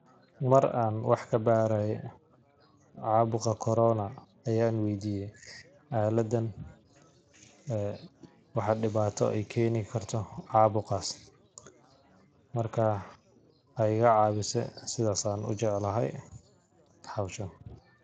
Mar an wax kabaraye cabuqa corona ayan weydiye aaladan ee waxaa dibata ay keni karto cabuqas, marka way igacawise sidas an u jeclhy howshan.